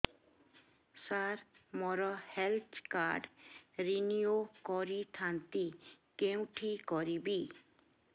ସାର ମୋର health card renew କରିଥାନ୍ତି କେଉଁଠି କରିବି